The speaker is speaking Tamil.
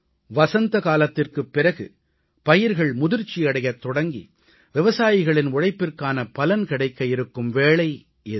வசந்தகாலத்திற்குப் பிறகு பயிர்கள் முதிர்ச்சியடையத் தொடங்கி விவசாயிகளின் உழைப்பிற்கான பலன் கிடைக்க இருக்கும் வேளை இது